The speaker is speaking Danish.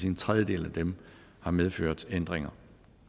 en tredjedel af dem har medført ændringer